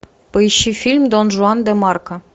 поищи фильм дон жуан де марко